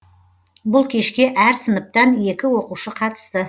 бұл кешке әр сыныптан екі оқушы қатысты